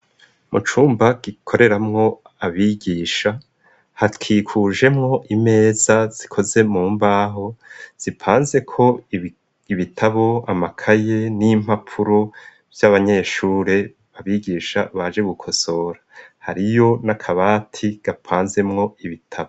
Mu cumba gikoreramwo abigisha hakikujemwo imeza zikoze mu mbaho zipanze ko ibitabo amakaye n'impapuro vy'abanyeshure abigisha baje gukosora hariyo n'akabati gapanzemwo ibitabo.